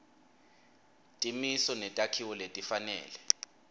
timiso netakhiwo letifanele